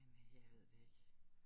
Men øh jeg ved det ikke